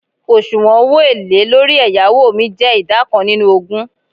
osuwon owo ele lori eyawo mi je ida kan ninu ogun